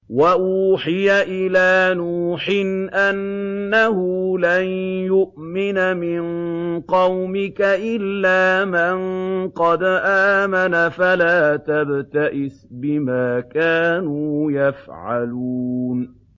وَأُوحِيَ إِلَىٰ نُوحٍ أَنَّهُ لَن يُؤْمِنَ مِن قَوْمِكَ إِلَّا مَن قَدْ آمَنَ فَلَا تَبْتَئِسْ بِمَا كَانُوا يَفْعَلُونَ